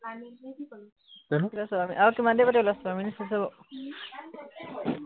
আৰু কিমান দেৰি পাতিবলে আছে, ছয় মিনিট হৈছে বাৰু